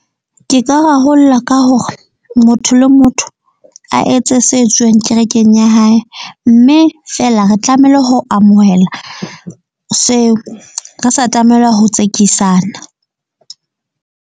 Ke ka rarolla ka hore motho le motho a etse se etsuwang kerekeng ya hae. Mme feela re tlamehile ho amohela seo. Re sa tlamela ho tsekisana.